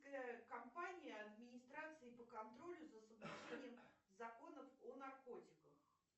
компания администрации по контролю за соблюдением законов о наркотиках